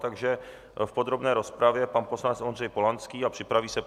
Takže v podrobné rozpravě pan poslanec Ondřej Polanský a připraví se...